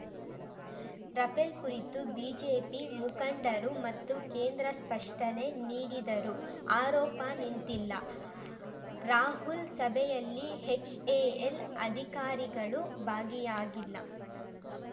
Rafale ಕುರಿತು BJP ಮುಖಂಡರು ಮತ್ತು ಕೇಂದ್ರ ಸ್ಪಷ್ಟನೆ ನೀಡಿದರೂ ಆರೋಪ ನಿಂತಿಲ್ಲ ರಾಹುಲ್‌ ಸಭೆಯಲ್ಲಿ ಎಚ್‌ಎಎಲ್‌ ಅಧಿಕಾರಿಗಳು ಭಾಗಿಯಾಗಿಲ್ಲ